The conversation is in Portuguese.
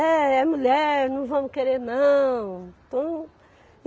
É, é mulher, não vamos querer não.